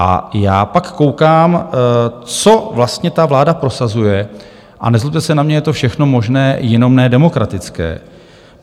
A já pak koukám, co vlastně ta vláda prosazuje - a nezlobte se na mě, je to všechno možné, jenom ne demokratické.